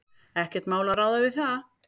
Ekkert mál að ráða við það.